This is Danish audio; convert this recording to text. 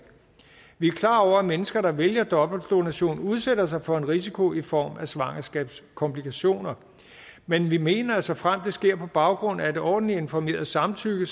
vi er klar over at mennesker der vælger dobbeltdonation udsætter sig for en risiko i form af svangerskabskomplikationer men vi mener at såfremt det sker på baggrund af et ordentligt informeret samtykke